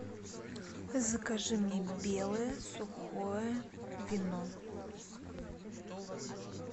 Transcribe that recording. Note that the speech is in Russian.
закажи мне белое сухое вино